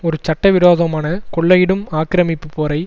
ஒரு சட்ட விரோதமான கொள்ளையிடும் ஆக்கிரமிப்பு போரை